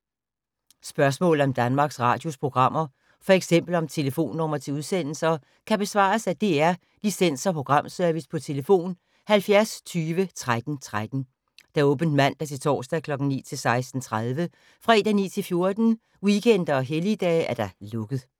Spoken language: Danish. Spørgsmål om Danmarks Radios programmer, f.eks. om telefonnumre til udsendelser, kan besvares af DR Licens- og Programservice: tlf. 70 20 13 13, åbent mandag-torsdag 9.00-16.30, fredag 9.00-14.00, weekender og helligdage: lukket.